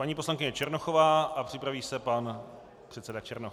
Paní poslankyně Černochová a připraví se pan předseda Černoch.